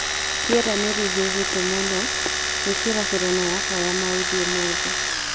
Rĩera nĩ rĩhiũhĩte mũno gwikira furana yakwa ya mauzi umuthi